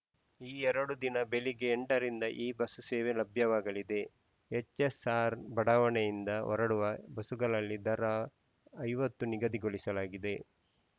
ಈ ಎರಡು ದಿನ ಬೆಳಿಗ್ಗೆ ಎಂಟರಿಂದ ಈ ಬಸ್‌ ಸೇವೆ ಲಭ್ಯವಾಗಲಿದೆ ಎಚ್‌ಎಸ್‌ಆರ್‌ ಬಡಾವಣೆಯಿಂದ ಹೊರಡುವ ಬಸುಗಳಲ್ಲಿ ಪ್ರಯಾಣ ದರ ಐವತ್ತು ನಿಗದಿಗೊಳಿಸಲಾಗಿದೆ